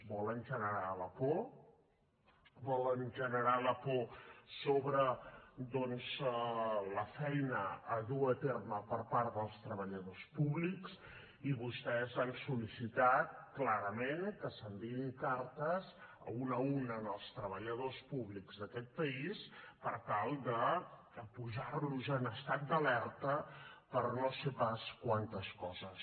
volen generar la por volen generar la por sobre doncs la feina a dur a terme per part dels treballadors públics i vostès han sol·licitat clarament que s’enviïn cartes una a una als treballadors públics d’aquest país per tal de posar los en estat d’alerta per no sé pas quantes coses